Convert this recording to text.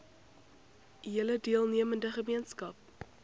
hele deelnemende gemeenskap